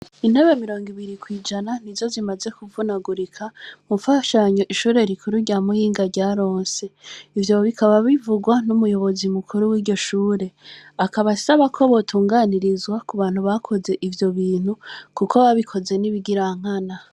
Intobe mirongo ibiri kwijana ni zo zimaze kuvunagurika mufashanyo ishure rikuru rya muhinga rya ronse ivyo bikaba bivugwa n'umuyobozi mukuru w'iryoshure akabasaba ko botunganirizwa ku bantu bakoze ivyo bintu, kuko babikoze n'ibigirankana.